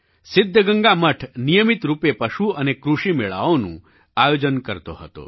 સિદ્ધગંગા મઠ નિયમિત રૂપે પશુ અને કૃષિ મેળાઓનું આયોજન કરતો હતો